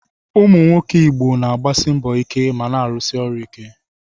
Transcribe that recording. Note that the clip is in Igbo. Ụmụ nwoke Igbo na-agbasi mbọ ike ma na-arụsi ọrụ ike.